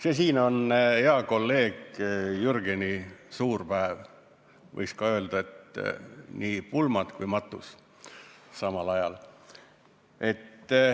See siin on hea kolleegi Jürgeni suurpäev, võiks öelda, et nii pulmad kui ka matus samal ajal.